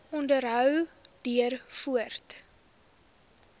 onderhou duur voort